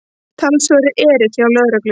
Talsverður erill hjá lögreglu